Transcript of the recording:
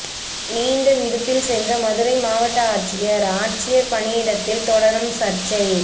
நீண்ட விடுப்பில் சென்ற மதுரை மாவட்ட ஆட்சியா் ஆட்சியா் பணியிடத்தில் தொடரும் சா்ச்சை